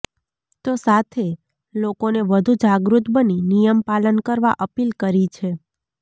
તો સાથે લોકોને વધુ જાગૃત બની નિયમ પાલન કરવા અપીલ કરી છે